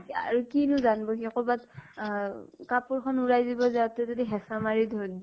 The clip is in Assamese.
আৰু কিনো জানব সি, কৰবাত আ কাপোৰ খন ওলাই দিব যাওঁতে যদি, হেচাঁ মাৰি দ দিয়ে